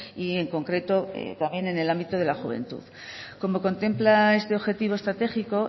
y en concreto también en el ámbito de la juventud como contempla este objetivo estratégico